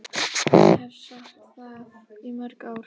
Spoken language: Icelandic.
Ég hef sagt það í mörg ár.